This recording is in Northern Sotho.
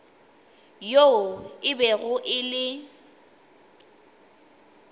yoo e bego e le